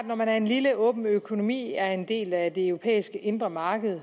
når man er en lille åben økonomi er en del af det europæiske indre marked